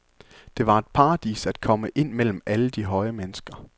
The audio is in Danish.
Det var et paradis at komme ind mellem alle de høje mennesker.